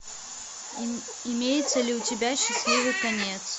имеется ли у тебя счастливый конец